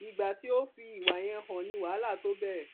ìgbà tí o fi ìwà yẹn hàn ni wàhálà tóo bẹrẹ